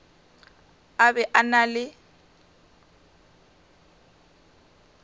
a be a na le